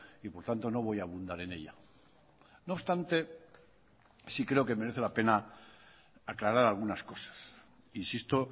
y por tanto no voy a abundar en ella no obstante sí creo que merece la pena aclarar algunas cosas insisto